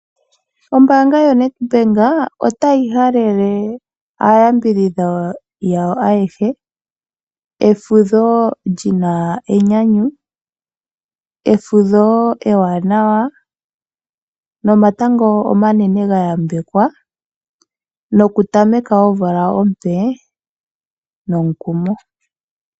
Ombaanga yoNedbank otayi halele aayambidhidhwa yao ayehe efudho li na enyanyu, efudho ewanawa nomatango omanene ga yambekwa, nokutameka omvula ompe nomukumo.